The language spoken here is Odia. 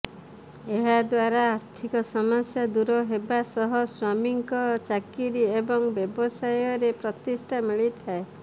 ଏହା ଦ୍ବାରା ଆର୍ଥିକ ସମସ୍ୟା ଦୂର ହେବା ସହ ସ୍ବାମୀଙ୍କ ଚାକିରୀ ଏବଂ ବ୍ୟବସାୟରେ ପ୍ରତିଷ୍ଠା ମିଳିଥାଏ